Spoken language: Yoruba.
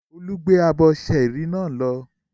Olú gbé abọ́ ṣẹ́ẹ́rì náà lọ?